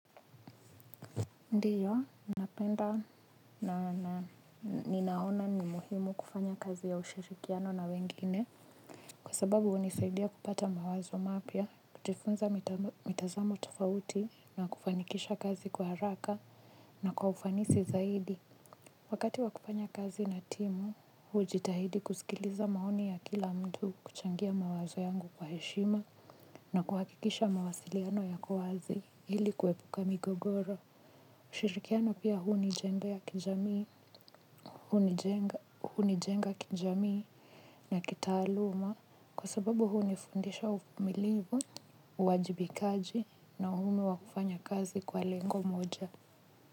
Ndiyo, napenda na ninaona ni muhimu kufanya kazi ya ushirikiano na wengine. Kwa sababu hunisaidia kupata mawazo mapya, kujifunza mitazamo tofauti na kufanikisha kazi kwa haraka na kwa ufanisi zaidi. Wakati wakufanya kazi na timu, hujitahidi kusikiliza maoni ya kila mtu kuchangia mawazo yangu kwa heshima na kuhakikisha mawasiliano yako wazi hili kuepuka migogoro. Ushirikiano pia hunijengea kijamii, hunijenga kijamii na kitaaluma kwa sababu hunifundisha uvumilivu, uwajibikaji na umhimu wa kufanya kazi kwa lengo moja.